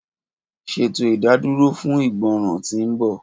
Ṣeto idaduro fun igbọran ti nbọ.